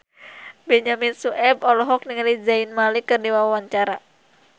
Benyamin Sueb olohok ningali Zayn Malik keur diwawancara